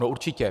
No určitě.